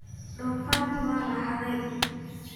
Donfarki waa laxadhee.